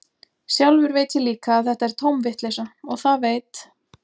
Sjálfur veit ég líka að þetta er tóm vitleysa, og það veit